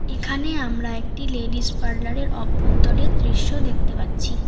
এখানে আমরা একটি লেডিস পার্লার -এর অভ্যন্তরের দৃশ্য দেখতে পাচ্ছি।